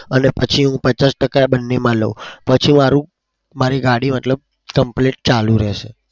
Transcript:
અને પછી હું પચાસ ટકા આ બંનેમાં લઉં પછી મારું મારી ગાડી મતલબ complete ચાલુ રે છે.